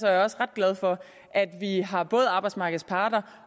jeg også ret glad for at vi har både arbejdsmarkedets parter